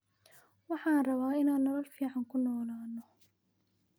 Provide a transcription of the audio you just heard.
Waxan rawaa inan nolol ficn kunolano.